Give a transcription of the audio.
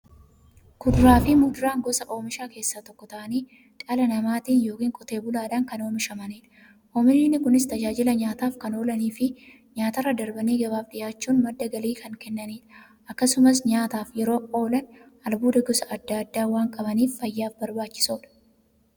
Kuduraafi muduraan gosa oomishaa keessaa tokko ta'anii, dhala namaatin yookiin Qotee bulaadhan kan oomishamaniidha. Oomishni Kunis, tajaajila nyaataf kan oolaniifi nyaatarra darbanii gabaaf dhiyaachuun madda galii kan kennaniidha. Akkasumas nyaataf yeroo oolan, albuuda gosa adda addaa waan qabaniif, fayyaaf barbaachisoodha.